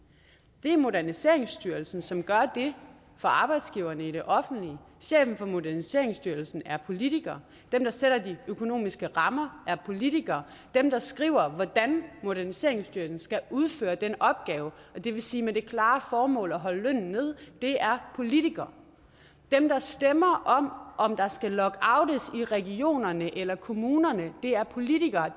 det er moderniseringsstyrelsen som gør det for arbejdsgiverne i det offentlige chefen for moderniseringsstyrelsen er politiker dem der sætter de økonomiske rammer er politikere dem der skriver hvordan moderniseringsstyrelsen skal udføre den opgave det vil sige med det klare formål at holde lønnen nede er politikere dem der stemmer om der skal lockoutes i regionerne eller kommunerne er politikere